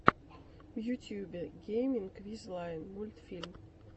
в ютубе гейминг виз лайн мультфильм